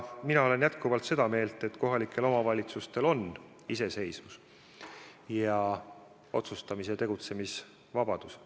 Mina olen jätkuvalt seda meelt, et kohalikel omavalitsustel on iseseisvus ning otsustamis- ja tegutsemisvabadus.